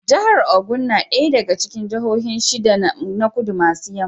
Jahar Ogun na ɗaya daga cikin jahohin shida na Kudu maso yamma.